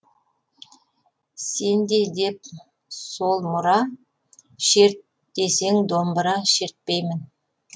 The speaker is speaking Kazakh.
сенде деп сол мұра шерт десең домбыра шертпеймін